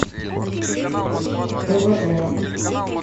твм